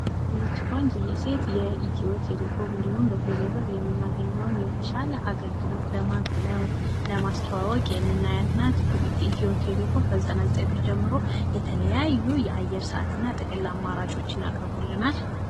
ይች ቆንጅየ ሴት የኢትዮ ቴሌኮም እንዲሁም በቴሌ ብር የምናገኘዉን የተሻለ አገልግሎት ለማስተዋወቅ የምናያት ናት፤ ኢትዮ ቴሌኮም ከ ዘጠና ዘጠኝ ብር ጀምሮ የተለያዩ የአየር ሰአት እና ጥቅል አማራጮችን አቅርቦልናል።